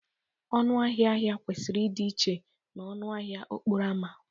Ọnụ ahịa ahịa kwesịrị ịdị iche na ọnụ ahịa okporo ámá